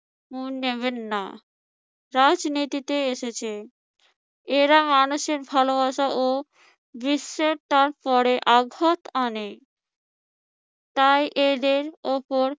মন দেবেন না। রাজনীতিতে এসেছে, এরা মানুষের ভালোবাসা ও বিশ্বস্ততার উপরে আঘাত আনে। তাই এদের উপর